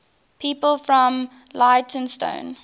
people from leytonstone